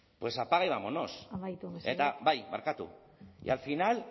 pues apaga y vámonos amaitu mesedez bai barkatu y al final